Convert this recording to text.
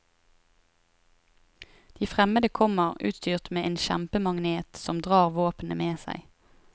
De fremmede kommer utstyrt med en kjempemagnet som drar våpnene med seg.